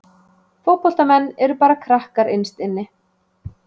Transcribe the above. Fótboltamenn eru bara krakkar innst inni.